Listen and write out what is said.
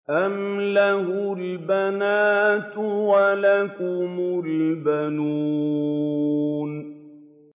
أَمْ لَهُ الْبَنَاتُ وَلَكُمُ الْبَنُونَ